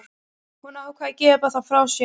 Hún ákvað að gefa það frá sér.